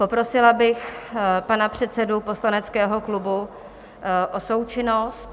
Poprosila bych pana předsedu poslaneckého klubu o součinnost.